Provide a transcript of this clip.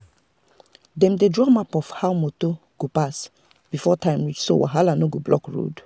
dem dey draw map of how motor go pass before time reach so wahala no go block road.